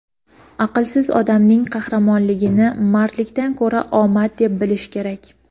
aqlsiz odamning qahramonligini mardlikdan ko‘ra omad deb bilish kerak.